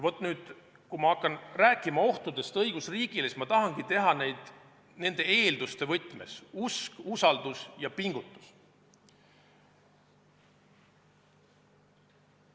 Nüüd, kui ma hakkan rääkima ohtudest õigusriigile, siis ma tahangi teha seda nende eelduste võtmes: usk, usaldus ja pingutus.